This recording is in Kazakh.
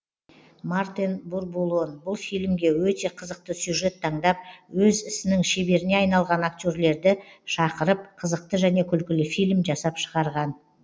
мартен бурбулон бұл фильмге өте қызықты сюжет таңдап өз ісінің шеберіне айналған актерлерді шақырып қызықты және күлкілі фильм жасап шығарған